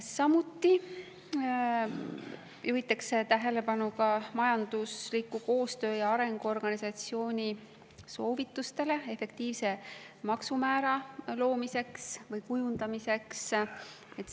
Samuti juhitakse tähelepanu Majandusliku Koostöö ja Arengu Organisatsiooni soovitustele efektiivse maksumäära loomise või kujundamise kohta.